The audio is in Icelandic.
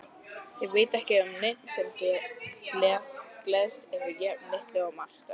Ég veit ekki um neinn sem gleðst yfir jafn litlu og Marta.